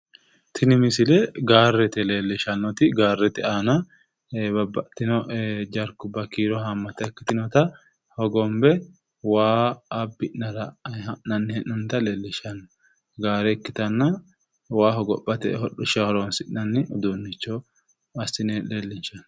Tinni misille gaarete leelishanoti gaarete aanna babbaxitino jarkuwabba kiiro haammata ikkitinotta hogonbe waa abi'nara ha'nanni hee'nonnita leelishano gaare ikkitanna waa hogophate hodhisha horoonsi'nanni uduunicho assine leellinshanni.